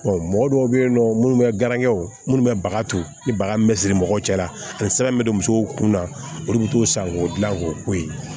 mɔgɔ dɔw bɛ yen nɔ minnu bɛ garankɛ o minnu bɛ baga to ni baga min bɛ siri mɔgɔw cɛ la ani sɛbɛn min bɛ don musow kun na olu bɛ t'o san k'o dilan k'o ko ye